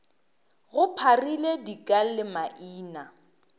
go pharile dika le maina